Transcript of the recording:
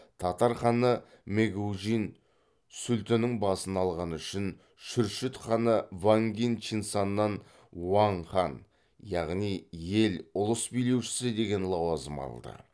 татар ханы мэгужин сүлтінің басын алғаны үшін шүршіт ханы вангин чинсаннан уаң хан яғни ел ұлыс билеушісі деген лауазым алды